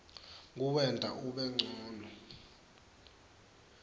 kuwenta ube ncono